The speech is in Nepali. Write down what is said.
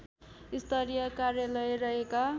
स्तरीय कार्यालय रहेका